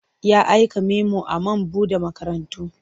Ya aika memo a man buɗe makarantu.